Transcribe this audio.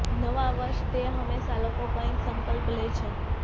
નવા વર્ષ ટે હંમેશા લોકો કંઈક સંકલ્પ લે છે